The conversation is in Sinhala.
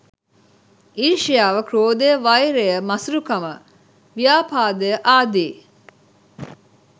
ඊර්ෂ්‍යාව, ක්‍රෝධය, වෛරය, මසුරුකම, ව්‍යාපාදය ආදී